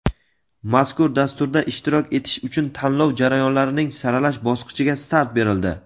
Mazkur dasturda ishtirok etish uchun tanlov jarayonlarining saralash bosqichiga start berildi.